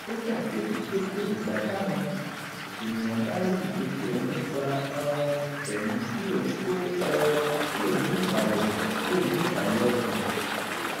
ó ṣàkíyèsi pé kò dìgbà táwọn ènìyàn bá rí ìṣesí òun nípa um tẹ̀mí kí òun tó um lè ní ìbàlẹ̀ lè ní ìbàlẹ̀ ọkàn